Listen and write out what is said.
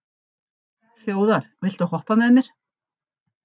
Þjóðar, viltu hoppa með mér?